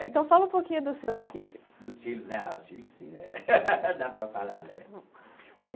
Então fala um pouquinho dos seus filhos. Dos filhos né ah dos filhos sim né dá para falar né bom